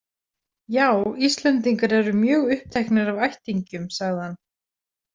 Já, Íslendingar eru mjög uppteknir af ættingjum, sagði hann.